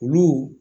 Olu